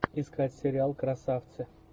искать сериал красавцы